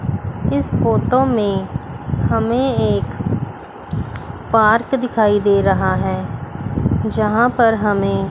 इस फोटो में हमें एक पार्क दिखाई दे रहा है जहां पर हमें--